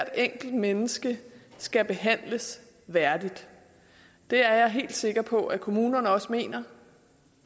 enkelt menneske skal behandles værdigt det er jeg helt sikker på at kommunerne også mener